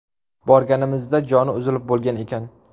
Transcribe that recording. Borganimizda joni uzilib bo‘lgan ekan.